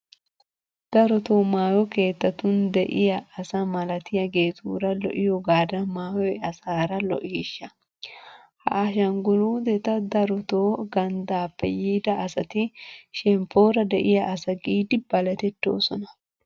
Darotoo maayo keettatun de'iya asa malatiyageetuura lo"iyogaadan maayoy asaara lo"iishsha! Ha ashangguluuteta darotoo ganddaappe yiida asati shemppoora de'iya asa giidi baletettoosona.